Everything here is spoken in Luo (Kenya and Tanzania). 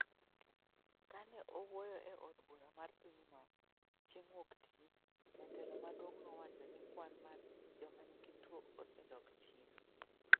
Kane owuoyo e od bura mar pinyno chieng' wuok Tich, jatelo maduong' nowacho ni kwan mar joma nigi tuo osedok chien.